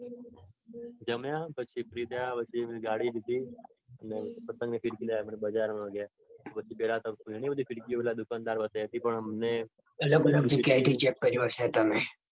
જમ્યા પછી free થયા પછી પેલી ગાડી લીધી. ને પતંગને ફીરકી લેવા બજારમાં ગયા. પછી પેલા તો ઘણી બધી ફીરકીઓ પેલા દુકાનદારે બતાવી હતી પણ અમને પણ. ઘણીબધી જગ્યાએ ચેક કર્યું હશે તમે.